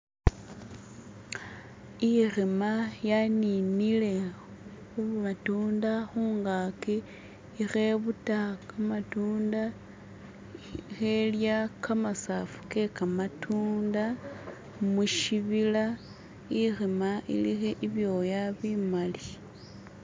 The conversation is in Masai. Ikhima ya ninile khumatunda khungaki ikhebuta kamatunda khelya kamasafu kekamatunda mushibila ikhima ilikho ibyoya bimali.